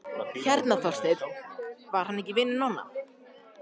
Hérna Þorsteinn, var hann ekki vinur Nonna?